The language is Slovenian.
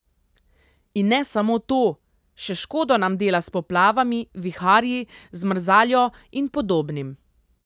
In ne samo to, še škodo nam dela s poplavami, viharji, zmrzaljo in podobnim.